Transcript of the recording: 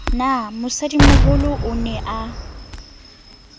na mosadimoholo o ne a